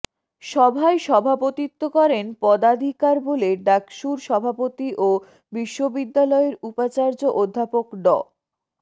সভায় সভাপতিত্ব করেন পদাধিকার বলে ডাকসুর সভাপতি ও বিশ্ববিদ্যালয়ের উপাচার্য অধ্যাপক ড